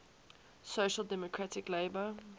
social democratic labour